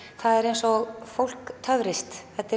það er eins og fólk töfrist þetta